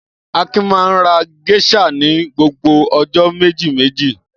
Akin máa ń ra géíṣà ní gbogbo ọjọ́ méjìméjì.